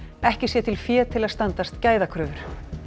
ekki sé til fé til að standast gæðakröfur